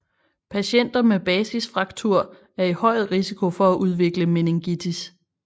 Patienter med basisfraktur er i høj risiko for at udvikle meningitis